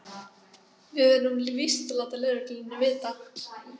Við verðum víst að láta lögregluna vita.